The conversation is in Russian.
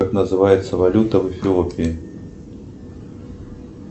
как называется валюта в эфиопии